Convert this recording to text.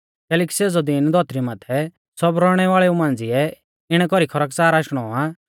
कैलैकि सेज़ौ दीन धौतरी माथै सब रौइणै वाल़ेऊ मांझ़िऐ इणै कौरी खरकच़ार आशणौ आ